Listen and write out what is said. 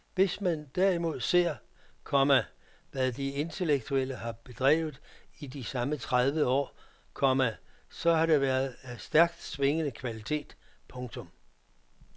Hvis man derimod ser, komma hvad de intellektuelle har bedrevet i de samme tredive år, komma så har det været af stærkt svingende kvalitet. punktum